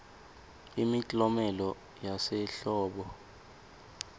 imiklomelo yasehlobo